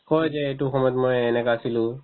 কই যে এইটো সময়ত মই এনেকা আছিলো